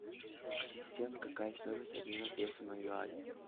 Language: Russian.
ассистент какая стоимость обмена песо на юани